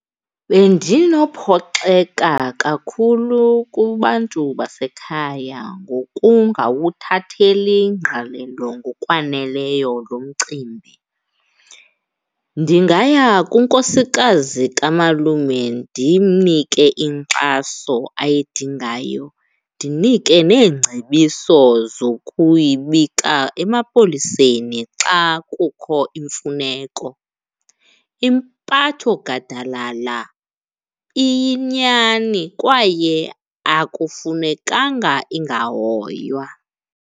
Bendinophoxeka kakhulu kubantu basekhaya ngokungawuthatheli ngqalelo ngokwaneleyo lo mcimbi. Ndingaya kunkosikazi kamalume ndimnike inkxaso ayidingayo, ndinike neengcebiso zokuyibika emapoliseni xa kukho imfuneko. Impathogadalala iyinyani kwaye akufunekanga ingahoywa.